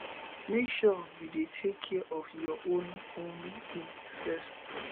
make sure sey you dey take care of your own own needs first